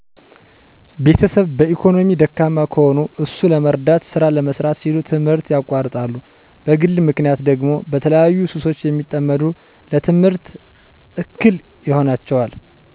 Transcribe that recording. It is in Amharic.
ቤተሰብ በኢኮኖሚ ደካማ ከሆኑ እሱን ለመርዳት ስራ ለመስራት ሲሉ ትምህርት ያቋርጣሉ በግል ምክንያት ደግሞ በተለያዩ ሱሶች ሲጠመዱ ለትምህርት እክል ይሆናቸዋል